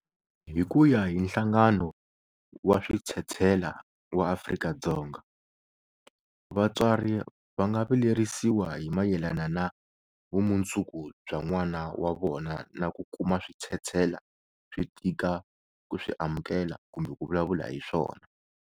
Hi ku ya hi Nhlangano wa Switshetshela wa Afrika-Dzonga, vatswari va nga vilerisiwa hi mayelana na vumundzuku bya n'wana wa vona na ku kuma switshetshela swi tika ku swi amukela kumbe ku vulavula hi swona.